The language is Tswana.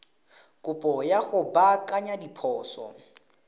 kopo ya go baakanya diphoso